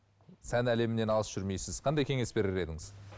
сән әлемінен алыс жүрмейсіз қандай кеңес берер едіңіз